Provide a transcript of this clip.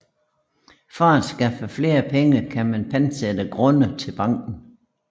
For at skaffe flere penge kan man pantsætte grunde til banken